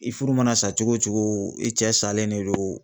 I furu mana sa cogo cogo i cɛ salen de don